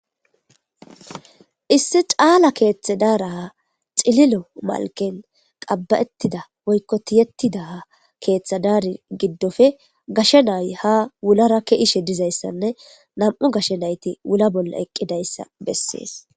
Issi caala keethe daaraha xililo malken qab'ettida woykko tiyettidaa keeththe daari giddofe gashe nay ha wulara ke ishe dizayssanne na'mu gashe nayti wula bolla eqqidayssa beses